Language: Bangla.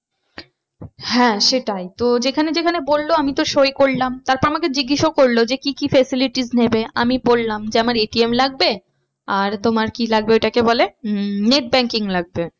হ্যাঁ সেটাই তো যেখানে যেখানে বললো আমি তো সই করলাম। তারপর আমাকে জিজ্ঞাসাও করলো যে কি কি facilities নেবে? আমি বললাম যে আমার ATM লাগবে আর তোমার কি লাগবে ওটাকে বলে উম net banking লাগবে।